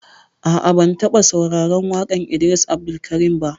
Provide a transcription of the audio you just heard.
A'a, ban taɓa sauraran waƙan Idris Abdulkarim ba